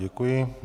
Děkuji.